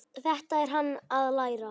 Þetta er hann að læra!